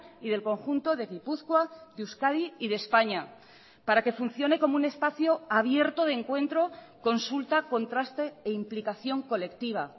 y del conjunto de gipuzkoa de euskadi y de españa para que funcione como un espacio abierto de encuentro consulta contraste e implicación colectiva